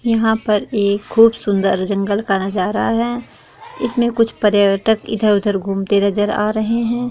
यहाँ पर एक खूब सूंदर जंगल का नज़रा है इसमे कुछ पर्यटक इधर-उधर घूमते नजर आ रहे हैं।